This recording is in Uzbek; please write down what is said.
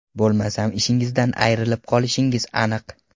Bo‘lmasam ishingizdan ayrilib qolishingiz aniq.